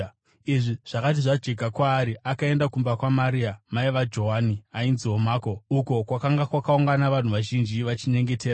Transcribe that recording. Izvi zvakati zvajeka kwaari, akaenda kumba kwaMaria mai vaJohani, ainziwo Mako, uko kwakanga kwakaungana vanhu vazhinji vachinyengetera.